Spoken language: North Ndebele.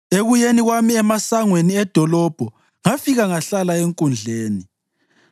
Ekuyeni kwami emasangweni edolobho ngafika ngahlala enkundleni,